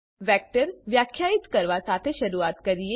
vector વ્યાખ્યાયિત કરવા સાથે શરૂઆત કરીએ